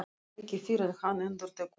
Ekki fyrr en hann endurtekur það.